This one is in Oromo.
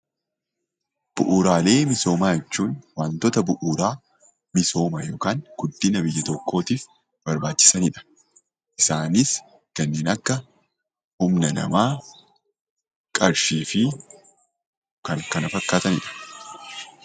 Bu'uuraalee misoomaa jechuun waantota bu'uuraa misooma yookan guddina biyya tokkootif barbaachisanidha. Isaanis kanneen akka humna namaa, qarshii fi kan kana fakkaatanidha.